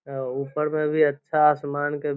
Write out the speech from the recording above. ओ ऊपर मै भी अच्छा आसमान के --